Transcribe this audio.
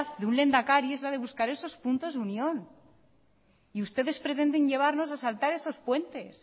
de un lehendakari es la de buscar esos puntos de unión y ustedes pretenden llevarnos a saltar esos puentes